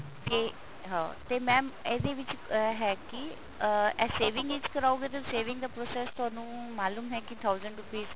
ਤੇ ਹਾਂ ਤੇ mam ਇਹਦੇ ਵਿੱਚ ਇਹ ਹੈ ਕੀ ਅਹ ਇਹ saving ਵਿੱਚ ਕਰਾਓਗੇ ਤੇ saving ਦਾ process ਤੁਹਾਨੂੰ ਮਾਲੂਮ ਹੈ ਕੀ thousand rupees